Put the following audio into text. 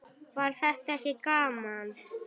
Var þetta ekki gaman?